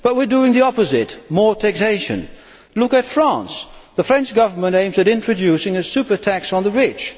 But we are doing the opposite more taxation. Look at France the French Government aims to introduce a super tax on the rich.